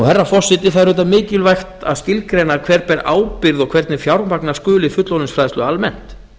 herra forseti það er auðvitað mikilvægt að skilgreina hver ber ábyrgð og hvernig fjármagna skuli fullorðinsfræðslu almennt